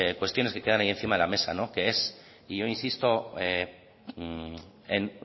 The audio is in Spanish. cuestiones que quedan ahí encima de la mesa que es y yo insisto en